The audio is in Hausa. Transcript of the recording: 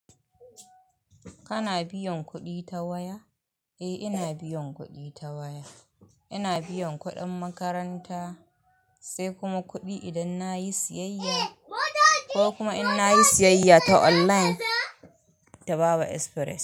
Kana biyan kuɗi ta waya? Eh ina biyan kuɗi ta waya. Ina biyan kuɗin makaranta, sai kuma kuɗi idan na yi siyayya ko kuma inna yi siyayya ta online da Baba Express.